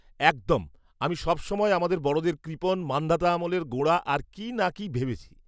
-একদম! আমি সবসময় আমাদের বড়দের কৃপণ, মান্ধাতা আমলের, গোঁড়া আর কী না কী ভেবেছি।